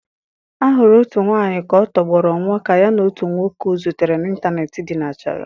A hụrụ otu nwanyị ka ọ tọgbọrọ nwụọ ka ya na otu nwoke ọ zutere n'ịntanetị dinachara.